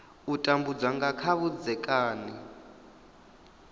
u tambudza nga kha vhudzekani